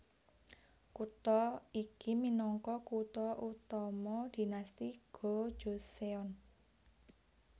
Kutha iki minangka kutha utama Dinasti Go Joseon